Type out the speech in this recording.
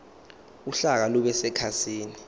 uhlaka lube sekhasini